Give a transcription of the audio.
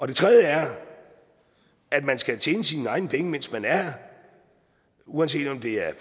det tredje er at man skal tjene sine egne penge mens man er her uanset om det er